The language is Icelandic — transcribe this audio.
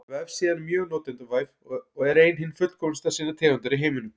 Vefsíðan er mjög notendavæn og er ein hin fullkomnasta sinnar tegundar í heiminum.